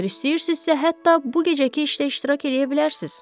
Əgər istəyirsinizsə, hətta bu gecəki işdə iştirak eləyə bilərsiniz.